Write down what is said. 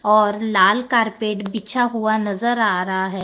और लाल कारपेट बिछा हुआ नजर आ रहा है।